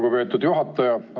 Lugupeetud juhataja!